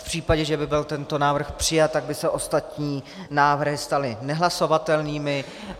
V případě, že by byl tento návrh přijat, tak by se ostatní návrhy staly nehlasovatelnými.